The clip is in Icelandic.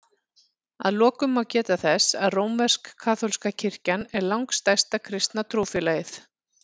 Að lokum má geta þess að rómversk-kaþólska kirkjan er langstærsta kristna trúfélagið.